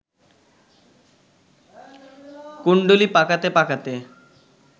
কুণ্ডুলি পাকাতে পাকাতে